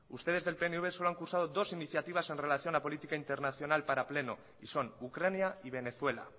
ustedes del pnv solo han cursado dos iniciativas en relación a política internacional para pleno y son ucrania y venezuela